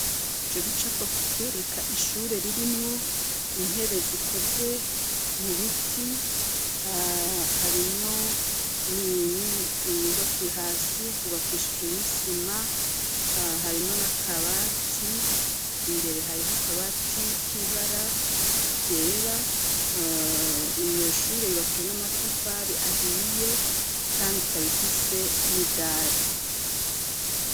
Ico gicapo kitwereka ishure ririmwo intebe zikozwe mu biti, harimwo iyubaki, hasi hubakishijwe n'isima, harimwo n'akabati, imbere hariho akabati k'ibara ryera, iyo shure yubakijwe n'amatafari ahiye kandi ikaba ifise n'idari.